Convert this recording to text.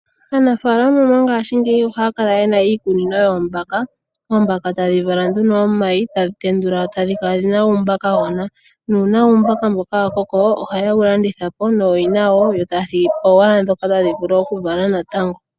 Aanafaalama mangashingeyi oha ya kala yena iikunino yoombaka. Oombaka ta dhi vala nduno omayi, ta dhi tendula dho ta dhi kala dhina uumbakagona. Uuna uumbaka mboka wa koko, oha ye wu landithapo nooyina yawo yo ta ya thigipo owala dhoka ta dhi vulu oku vala natango.